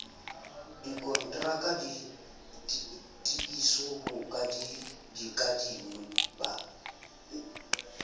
dikontraka ditiiso ho bakadimi ba